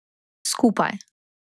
Skupaj.